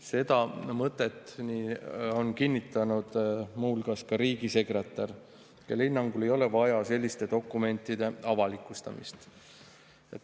Seda mõtet on kinnitanud muu hulgas riigisekretär, kelle hinnangul ei ole vaja selliste dokumentide avalikustamist.